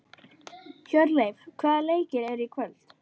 Hjörleif, hvaða leikir eru í kvöld?